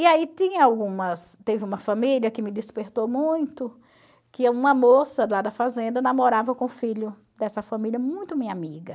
E aí tinha algumas, teve uma família que me despertou muito, que uma moça do lado da fazenda namorava com o filho dessa família, muito minha amiga.